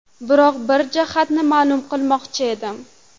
Biroq bir jihatini ma’lum qilmoqchi edim.